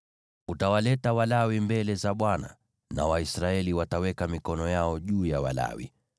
Utawaleta Walawi mbele za Bwana , na Waisraeli wataweka mikono yao juu ya Walawi.